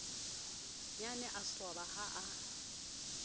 nnyane a swaba ha a